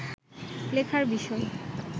লেখার বিষয়